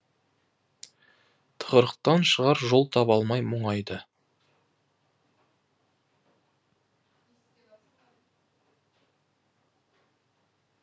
тығырықтан шығар жол таба алмай мұңайды